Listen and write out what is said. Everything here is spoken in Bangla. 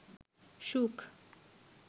সুখ